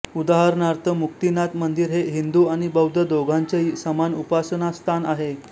उदाहरणार्थ मुक्तिनाथ मंदिर हे हिंदू आणि बौद्ध दोघांचेही समान उपासनास्थान आहे